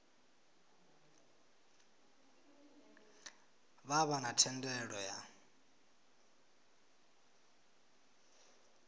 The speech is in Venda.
vha vha na thendelo ya